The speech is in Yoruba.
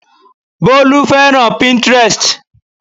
Bólú fẹ́ràn Pinterest